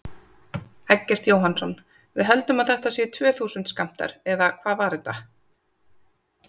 Eggert Jóhannsson: Við höldum að þetta séu tvö þúsund skammtar, eða hvað var þetta?